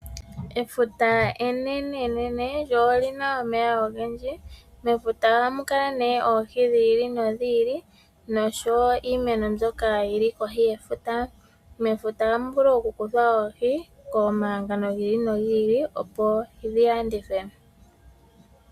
Efuta, enenenene, lyo olina omeya ogendji. Mefuta ohamu kala oohi dhi ili nodhi ili noshowo iimeno mbyoka yili kohi yefuta. Mefuta ohamu vulu oku kuthwa oohi komahangano gi ili nogi ili opo dhi landithwe.